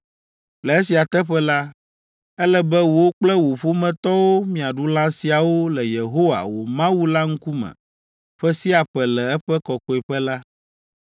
Le esia teƒe la, ele be wò kple wò ƒometɔwo miaɖu lã siawo le Yehowa, wò Mawu la ŋkume ƒe sia ƒe le eƒe kɔkɔeƒe la.